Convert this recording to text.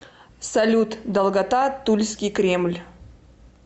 салют долгота тульский кремль